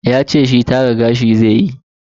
Yace shi tara gashi zaiyi.